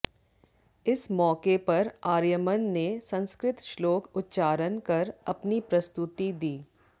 इस मौके पर आर्यमन ने संस्कृत श्लोक उच्चारण कर अपनी प्रस्तुति दी